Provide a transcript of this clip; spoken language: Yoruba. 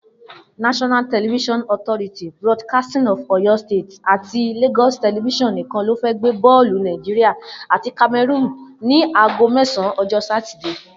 NTA, BCOS àti LTV nìkan ló fẹ́ gbé bọ́ọ̀lù Nigeria àti Cameroon ní aago mẹ́sàn-an, ọjọ́ Sátidé.